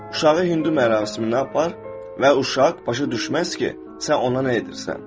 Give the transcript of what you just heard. Uşağı Hindu mərasiminə apar və uşaq başa düşməz ki, sən ona nə edirsən.